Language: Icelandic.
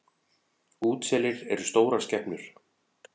Útselir eru stórar skepnur.